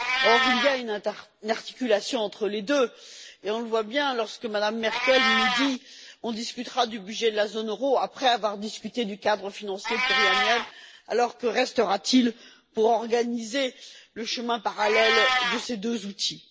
Or, il y a une articulation entre les deux et on le voit bien lorsque Mme Merkel nous dit On discutera du budget de la zone euro après avoir discuté du cadre financier pluriannuel. Alors que restera t il pour organiser le chemin parallèle de ces deux outils?